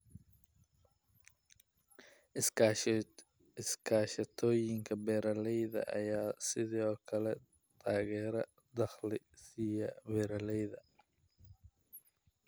Iskaashatooyinka beeralayda ayaa sidoo kale taageero dhaqaale siiya beeralayda.